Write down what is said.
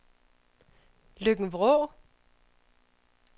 Løkken-Vrå